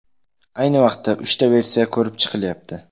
Ayni vaqtda uchta versiya ko‘rib chiqilyapti.